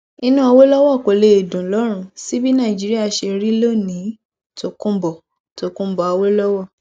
inú awolowo kò lè dùn lọrùn sí bí nàìjíríà ṣe rí lónìín tọkunbó tọkunbó awolowo